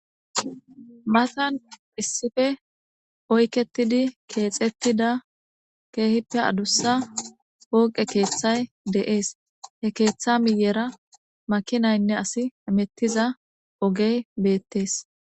Matan issippe Oyketidi Kexetida kehipe adusa poqe de'ese he ketha miyera makinaynne asi hametiza ogeye betese